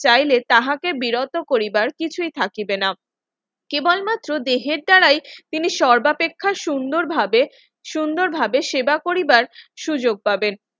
চাইলে তাহাকে বিরত করিবার কিছুই থাকিবে না কেবলমাত্র দেহের দ্বারাই তিনি সর্বাপেক্ষা সুন্দরভাবে সুন্দরভাবে সেবা পরিবার সুযোগ পাবেন